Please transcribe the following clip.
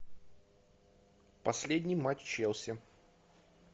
последний матч челси